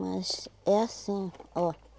Mas é assim, ó.